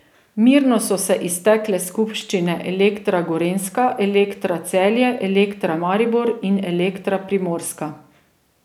Mirno so se iztekle skupščine Elektra Gorenjska, Elektra Celje, Elektra Maribor in Elektra Primorska.